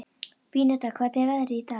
Beníta, hvernig er veðrið í dag?